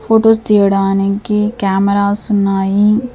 Photos తీయడానికి cameras ఉన్నాయి.